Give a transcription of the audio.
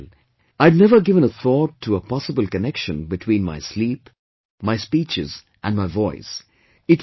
" Well, I had never given a thought to a possible connection between my sleep, my speeches and my voice